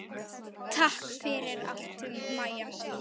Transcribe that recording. Takk fyrir allt, Maja mín.